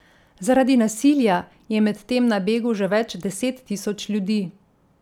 Zaradi nasilja je medtem na begu že več deset tisoč ljudi.